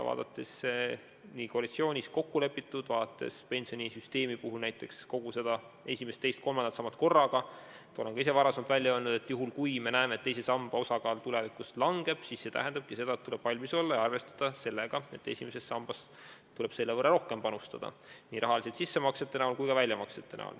Vaatame koalitsioonis kokku lepitut, vaatame pensionisüsteemi puhul esimest, teist ja kolmandat sammast korraga – ma olen ka ise varem välja öelnud, et kui me näeme, et teise samba osakaal tulevikus langeb, siis see tähendabki seda, et tuleb valmis olla selleks ja arvestada sellega, et esimesse sambasse tuleb selle võrra rohkem panustada nii raha sissemaksete näol kui ka väljamaksete näol.